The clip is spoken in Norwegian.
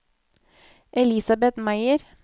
Elisabet Meyer